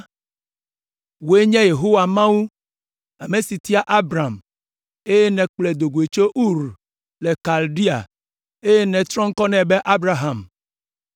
“Wòe nye Yehowa Mawu, ame si tia Abram, eye nèkplɔe do goe tso Ur le Kaldea, eye nètrɔ ŋkɔ nɛ be Abraham.